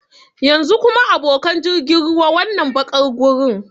Yanzu kuma, abokan jirgin ruwa, wannan baƙar gurin?